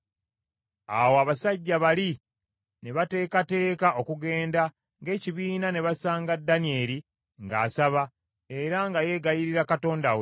Awo abasajja bali ne bateekateeka okugenda ng’ekibiina ne basanga Danyeri ng’asaba era nga yeegayirira Katonda we.